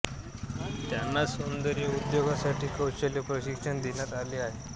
त्यांना सौंदर्य उद्योगासाठी कौशल्य प्रशिक्षण देण्यात आले आहे